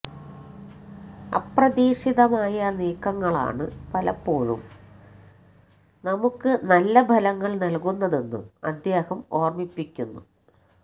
അപ്രതീക്ഷിതമായ നീക്കങ്ങളാണ് പലപ്പോളും നമുക്ക് നല്ലഫലങ്ങൾ നൽകുന്നതെന്നും അദ്ദേഹം ഓർമ്മിപ്പിക്കുന്നു